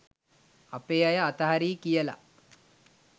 අපේ අය අතහරියි කියලා.